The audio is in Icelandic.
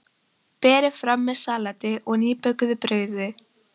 Berið fram með salati og nýbökuðu brauði.